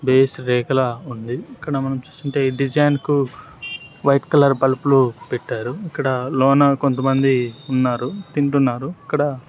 base రేఖలా ఉంది ఇక్కడ మనం చూస్తుంటే డిజైన్ కు వైట్ కలర్ బల్బులు పెట్టారు ఇక్కడ లోన కొంతమంది ఉన్నారు తింటున్నారు ఇక్కడ--